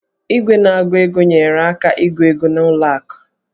Igwe na-agụ ego nyeere aka ịgụ ego n'ụlọ akụ